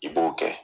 I b'o kɛ